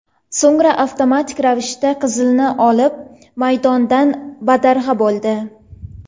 So‘ngra avtomatik ravishda qizilni olib, maydondan badarg‘a bo‘ldi.